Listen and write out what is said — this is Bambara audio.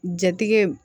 Jatigɛ